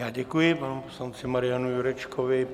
Já děkuji panu poslanci Marianu Jurečkovi.